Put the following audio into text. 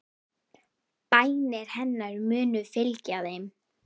Bænir hennar munu fylgja þeim.